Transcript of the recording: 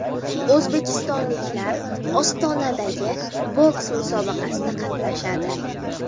O‘zbekistonliklar Ostonadagi boks musobaqasida qatnashadi.